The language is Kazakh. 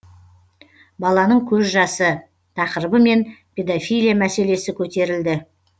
баланың көз жасы тақырыбымен педофилия мәселесі көтерілді